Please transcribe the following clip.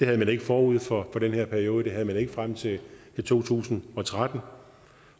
havde man ikke forud for den her periode og den havde man ikke frem til to tusind og tretten